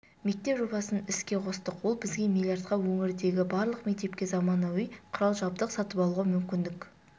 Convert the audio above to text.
мектеп жобасын іске қостық ол бізге миллиардқа өңірдегі барлық мектепке заманауи құрал-жабдық сатып алуға мүмкіндік